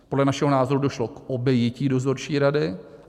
Podle našeho názoru došlo k obejití dozorčí rady.